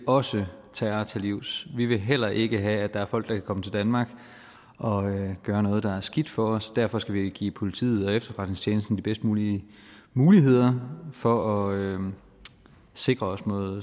også vil terror til livs vi vil heller ikke have at der er folk der kan komme til danmark og gør noget der er skidt for os og derfor skal vi give politiet og efterretningstjenesten de bedst mulige muligheder for at sikre os mod